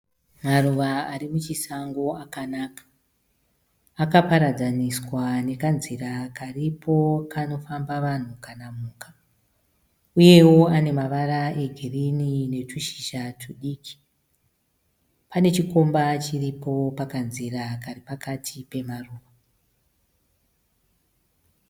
Maruva ari muchisango akanaka. Aka paradzaniswa nekanzira karipo kanofamba vanhu kana mhuka. Uyewo anemavara e girinhi netushizja tudiki. Pane chikomba chiripo pakanzira kari pakati pemaruva.